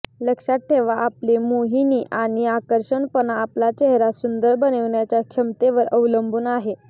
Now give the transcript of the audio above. लक्षात ठेवा आपले मोहिनी आणि आकर्षकपणा आपला चेहरा सुंदर बनविण्याच्या क्षमतेवर अवलंबून आहे